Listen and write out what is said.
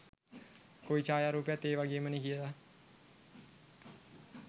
කොයි ඡායා රූපයත් ඒ වගේමනේ කියලා.